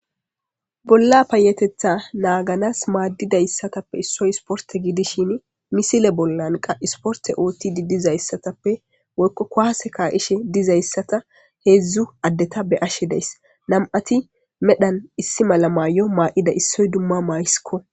bolla payetetha naaganas maaddida issatappe issoy sporte gidishin misile bollanqa isporte ootti didizayssatappe ko'ase ka ishe dizayssata heedzdzu addeta be ashe deys nam7ati medhan issi mala maayyo maa7ida issoy dumma mayisikko